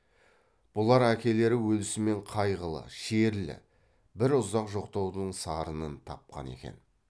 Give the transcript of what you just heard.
бұлар әкелері өлісімен қайғылы шерлі бір ұзақ жоқтаудың сарынын тапқан екен